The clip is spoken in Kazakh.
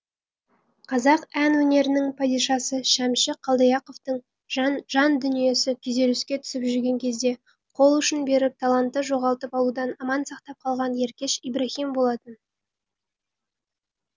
қазақ ән өнерінің падишасы шәмші қалдаяқовтың жан дүниесі күйзеліске түсіп жүрген кезде қолұшын беріп талантты жоғалтып алудан аман сақтап қалған еркеш ибраһим болатын